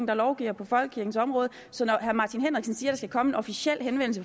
der lovgiver på folkekirkens område så når herre martin henriksen siger der skal komme en officiel henvendelse